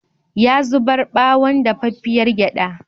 Ya zubar ɓawon dafaffiyar gyaɗa.